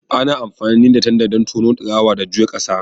Ana amfani da tanda don tono, ɗagawa, da juya ƙasa.